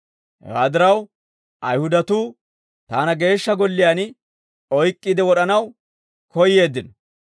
Hewaa diraw, Ayihudatuu taana Geeshsha Golliyaan oyk'k'iide wod'anaw koyyeeddino.